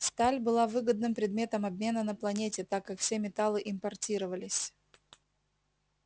сталь была выгодным предметом обмена на планете так как все металлы импортировались